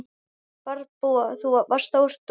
Fjárbú var þar stórt um tíma.